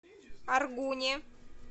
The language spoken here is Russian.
аргуне